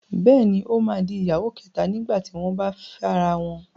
Bẹ́ẹ̀ni, ó máa di ìyàwó kẹ̀ta nígbà tí wọ́n bá fẹ́ra wọn.